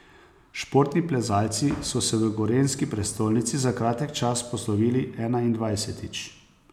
Športni plezalci so se v gorenjski prestolnici za kratek čas poslovili enaindvajsetič.